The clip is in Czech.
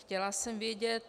Chtěla jsem vědět -